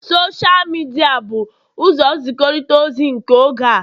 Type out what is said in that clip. Sosha midia bụ ụzọ nzikọrịta ozi nke oge a